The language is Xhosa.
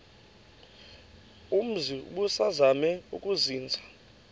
umzi ubusazema ukuzinza